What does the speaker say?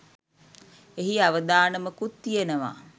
එහි අවදානමකුත් තියෙනවා.